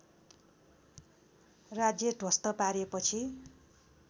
राज्य ध्वस्त पारेपछि